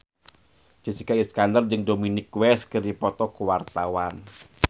Jessica Iskandar jeung Dominic West keur dipoto ku wartawan